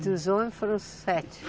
E dos homens foram sete?